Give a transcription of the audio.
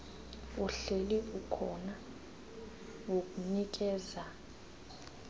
uhleli ukhona wokunikeza